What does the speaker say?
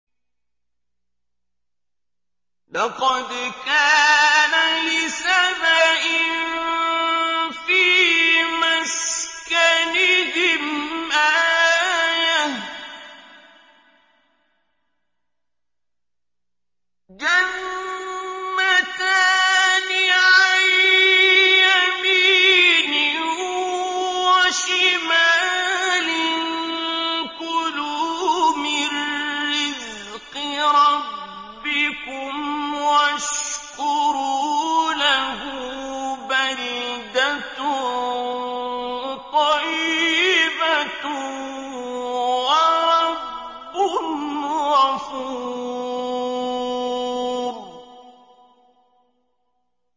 لَقَدْ كَانَ لِسَبَإٍ فِي مَسْكَنِهِمْ آيَةٌ ۖ جَنَّتَانِ عَن يَمِينٍ وَشِمَالٍ ۖ كُلُوا مِن رِّزْقِ رَبِّكُمْ وَاشْكُرُوا لَهُ ۚ بَلْدَةٌ طَيِّبَةٌ وَرَبٌّ غَفُورٌ